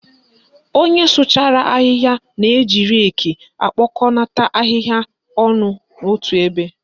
Onye sụchara ahịhịa na-eji reki ekpokonata ahịhịa ọnụ otu ebe.